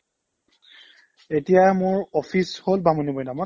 এতিয়া মই office হ'ল বামুণীমৈদামত